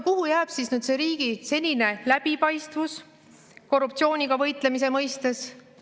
Kuhu jääb siis riigi senine läbipaistvus korruptsiooniga võitlemise mõistes?